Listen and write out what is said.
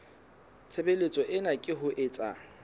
tshebeletso ena ke ho etsa